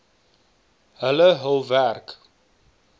hulle hul werk